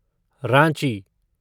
Ranchi